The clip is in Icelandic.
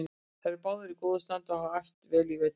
Þeir eru báðir í góðu standi og hafa æft vel í vetur.